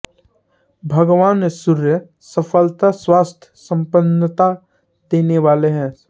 भगवान सूर्य सफलता स्वास्थ्य संपन्नता देने वाले हैं